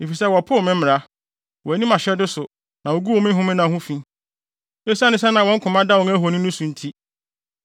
efisɛ wɔpoo me mmara, wɔanni mʼahyɛde so na woguu me homenna ho fi, esiane sɛ na wɔn koma da wɔn ahoni no so nti.